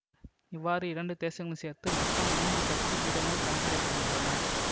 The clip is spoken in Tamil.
இவ்வாறு இரண்டு தேசங்களும் சேர்த்து மொத்தம் மூன்று சக்தி பீடங்கள் கணக்கிடப்படுகின்றன